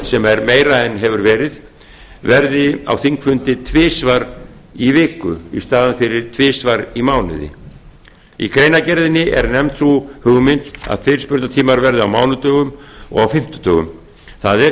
sem er meira en verið hefur verði á þingfundi tvisvar í viku í staðinn fyrir tvisvar í mánuði í greinargerðinni er nefnd sú hugmynd að fyrirspurnatímar verði á mánudögum og fimmtudögum það